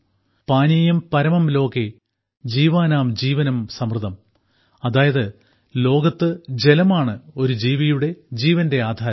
പാനീയം പരമം ലോകേ ജീവാനാം ജീവനം സമൃതം അതായത് ലോകത്ത് ജലമാണ് ഒരു ജീവിയുടെ ജീവന്റെ ആധാരം